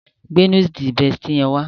Gbe Núdúùsù Bestie yẹn wá